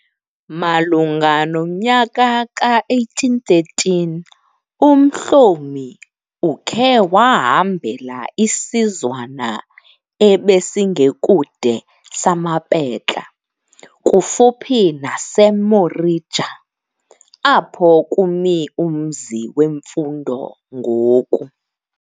Malunga nomnyaka ka 1813, uMhlomi ukhe wahambela isizwana ebesingekude samaPetla, kufuphi naseMorija, apho kumi umzi wemfundo ngoku.